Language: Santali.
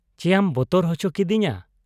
ᱪᱮᱭᱟᱢ ᱵᱚᱛᱚᱨ ᱚᱪᱚ ᱠᱠᱤᱫᱤᱧᱟ ᱾